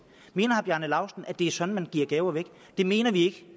mener herre bjarne laustsen at det er sådan man giver gaver det mener vi